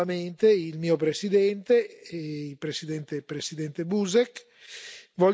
Mi fa piacere poter ringraziare, in conclusione, nuovamente il mio presidente, l'on.